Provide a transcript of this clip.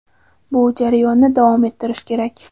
bu jarayonni davom ettirish kerak.